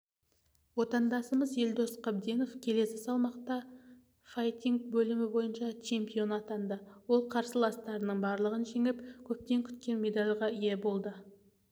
отандасымыз елдос қабденов келі салмақта файтинг бөлімі бойынша чемпион атанды ол қарсыластарының барлығын жеңіп көптен күткен медальға ие болды